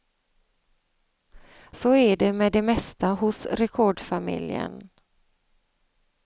Så är det med det mesta hos rekordfamiljen.